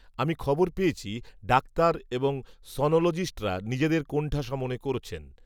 আমি খবর পেয়েছি ডাক্তার এবং সনোলজিস্টরা নিজেদের কোণঠাসা মনে করছেন